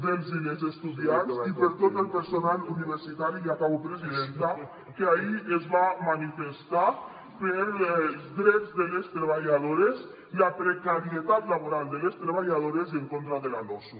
dels i les estudiants i per tot el personal universitari i acabo presidenta que ahir es va manifestar pels drets de les treballadores la precarietat laboral de les treballadores i en contra de la losu